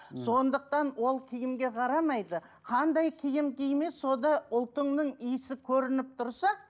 мхм сондықтан ол киімге қарамайды қандай киім киме сонда ұлтыңның иісі көрініп тұрса